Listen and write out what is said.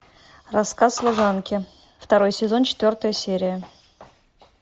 рассказ служанки второй сезон четвертая серия